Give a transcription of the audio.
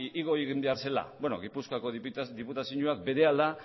igo egin behar zela beno gipuzkoako diputazioak berehala